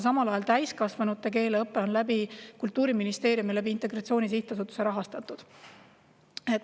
Aga täiskasvanute keeleõpe on Kultuuriministeeriumi ja Integratsiooni Sihtasutuse kaudu rahastatud.